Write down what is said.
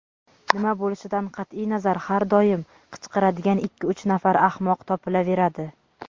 nima bo‘lishidan qat’iy nazar har doim qichqiradigan ikki-uch nafar ahmoq topilaveradi.